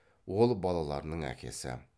ол балаларының әкесі